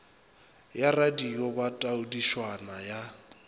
ya radio ba taodišwana ya